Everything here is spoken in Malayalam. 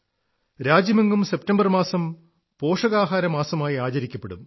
രാജ്യമെങ്ങും സെപ്റ്റംബർ മാസം പോഷകാഹാര മാസമായി ആചരിക്കപ്പെടും